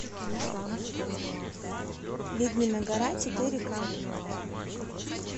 ведьмина гора четыре ка